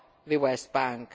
from the West Bank.